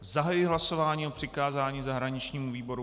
Zahajuji hlasování o přikázání zahraničnímu výboru.